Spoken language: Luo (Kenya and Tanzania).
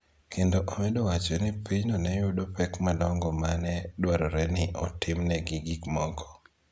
kendo omedo wacho ni pinyno ne yudo pek madongo ma ne dwarore ni otimnegi gik moko.